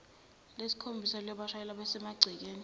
lesikhombisa liyobashayela besemagcekeni